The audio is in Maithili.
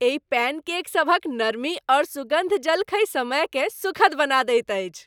एहि पैन केक सभक नरमी ओ सुगन्ध जलखै समयकेँ सुखद बना दैत अछि।